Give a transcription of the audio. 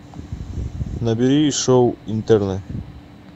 набери шоу интерны